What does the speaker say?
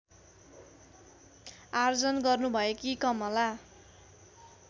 आर्जन गर्नुभएकी कमला